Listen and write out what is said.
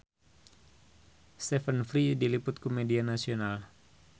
Stephen Fry diliput ku media nasional